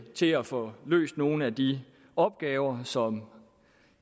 til at få løst nogle af de opgaver som